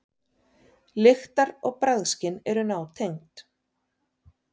Lyktar- og bragðskyn eru nátengd.